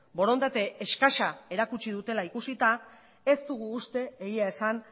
borondate eskasa erakutsi dutela ikusita ez dugu uste egia esan